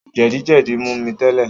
Jẹ̀díjẹdí mú mi tẹ́lẹ̀